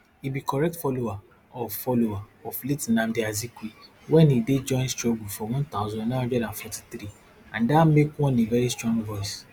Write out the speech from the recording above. e be correct follower of follower of late nnamdi azikwe wen e dey join struggle for one thousand, nine hundred and forty-three and dat make one a veri strong voice